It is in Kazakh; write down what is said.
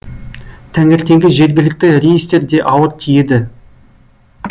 таңертеңгі жергілікті рейстер де ауыр тиеді